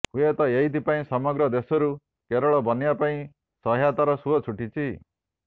ହୁଏତ ଏଇଥି ପାଇଁ ସମଗ୍ର ଦେଶରୁ କେରଳ ବନ୍ୟା ପାଇଁ ସହାୟତାର ସୁଅ ଛୁଟିଛି